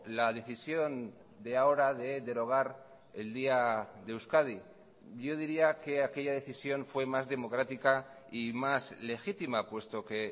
la decisión de ahora de derogar el día de euskadi yo diría que aquella decisión fue más democrática y más legítima puesto que